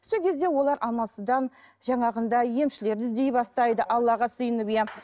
сол кезде олар амалсыздан жаңағындай емшілерді іздей бастайды аллаға сыйынып иә